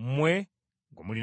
mmwe gwe mulinamu essuubi.